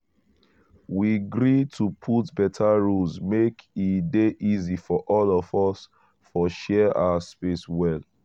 we gree to put beta rules make e dey easy for all of us for share our space well.